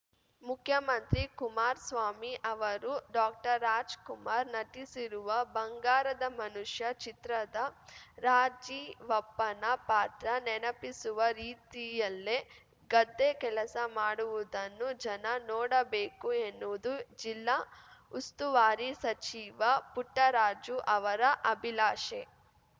ಮುಖ್ಯಮಂತ್ರಿ ಕುಮಾರ್ ಸ್ವಾಮಿ ಅವರು ಡಾಕ್ಟರ್ರಾಜ್‌ಕುಮಾರ್‌ ನಟಿಸಿರುವ ಬಂಗಾರದ ಮನುಷ್ಯ ಚಿತ್ರದ ರಾಜೀವಪ್ಪನ ಪಾತ್ರ ನೆನಪಿಸುವ ರೀತಿಯಲ್ಲೇ ಗದ್ದೆ ಕೆಲಸ ಮಾಡುವುದನ್ನು ಜನ ನೋಡಬೇಕು ಎನ್ನುವುದು ಜಿಲ್ಲಾ ಉಸ್ತುವಾರಿ ಸಚಿವ ಪುಟ್ಟರಾಜು ಅವರ ಅಭಿಲಾಶೆ